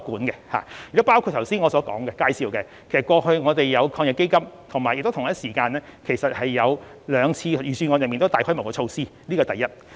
正如我剛才所作介紹，我們過去已透過防疫抗疫基金及最近兩年的預算案，推出極具規模的紓緩措施。